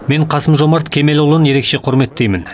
мен қасым жомарт кемелұлын ерекше құрметтеймін